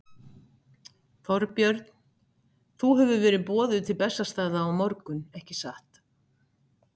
Þorbjörn: Þú hefur verið boðuð til Bessastaða á morgun, ekki satt?